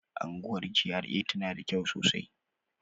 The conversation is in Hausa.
Unguwar GRA tana da kyau sosai